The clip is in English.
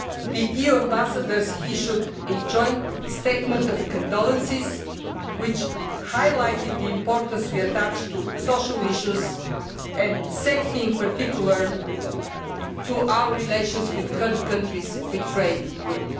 The EU Ambassadors issued a joint statement of condolence which highlighted the importance we attach to social issues and safety in particular to our relations with third countries we trade with.